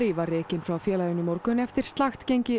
var rekinn frá félaginu í morgun eftir slakt gengi